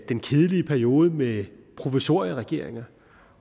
den kedelige periode med provisorieregeringer